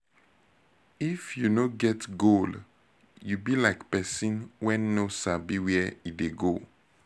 if you no get goal you be like pesin wey no sabi where e dey go